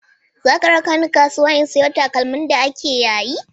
Za ka raka ni kasuwa in sayo takalmi da ake yayi?